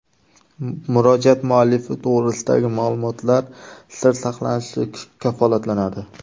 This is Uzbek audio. Murojaat muallifi to‘g‘risidagi ma’lumotlar sir saqlanishi kafolatlanadi.